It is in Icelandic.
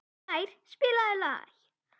Blær, spilaðu lag.